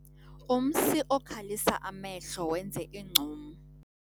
Umsi okhalisa amehlo wenze ingcum.